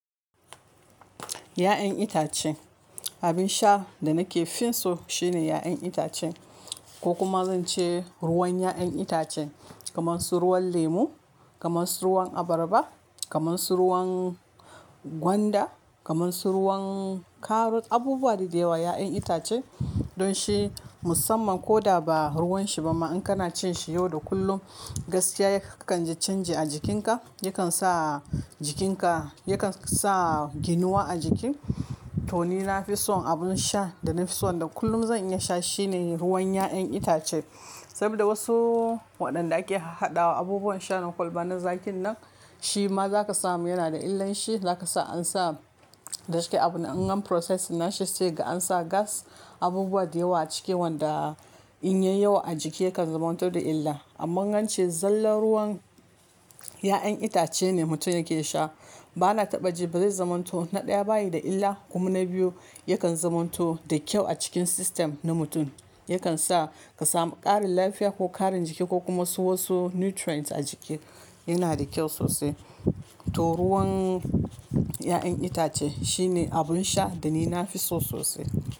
Ya'yan itace, abin sha da nake fin so shine ya'yan itace ko kuma zance ruwan ya'yan itace kamar su ruwan lemu, kamar su ruwan abarba, kamar su ruwan gwanda, kamar su ruwan karut, abubuwa da yawa, ya'yan itace don shi musamman koda ba ruwan shi ba ma in kana cin shi yau da kullum, gaskiya kakan ji canji a jikinka, yakan sa jikinka, yakan sa ginuwa a jiki. To ni na fi son abin sha da na fi son da kullum zan iya sha shine ruwan ya'yan itace. Saboda wasu waɗanda ake haɗa wa abubuwan sha na kwalba na zakin nan, shi ma za ka samu yana da illanshi, zaka sa ansa, da cike abun an gan proses na shi sai ga ansa gas, abubuwa da yawa a ciki wanda in yayi yawa a jiki yakan zamanto da illa. Amma ance zallar ruwan ya'yan itace ne mutum yake sha, bana taɓa ji ba zai zamanto, na ɗaya bayi da illa kuma na biyu yakan zamanto da kyau a cikin system na mutum. Yakan sa ka samu ƙarin lafiya ko ƙarin jiki ko kuma su wasu nutrients a jiki, yana da kyau sosai. To ruwan ya'yan itace shine abun sha da ni nafi so sosai.